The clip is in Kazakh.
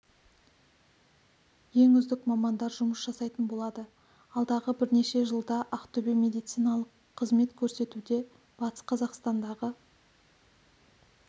ең үздік мамандар жұмыс жасайтын болады алдағы бірнеше жылда ақтөбе медициналық қызмет көрсетуде батыс қазақстандағы